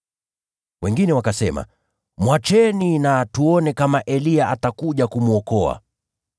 Wengine wakasema, “Basi mwacheni. Hebu tuone kama Eliya atakuja kumwokoa.”